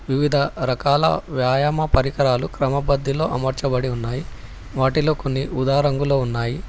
వివిధ రకాల వ్యాయామ పరికరాలు క్రమపధిలో అమర్చబడి ఉన్నాయి వాటిలో కొన్ని ఉదా రంగులో ఉన్నాయి.